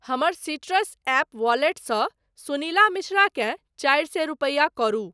हमर Citrus app वॉलेटसँ सुनीला मिश्रा केँ चारि सए रूपैया करू।